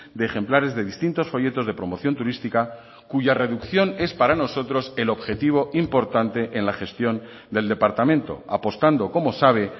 de ejemplares de distintos folletos de promoción turística cuya reducción es para nosotros el objetivo importante en la gestión del departamento apostando como sabe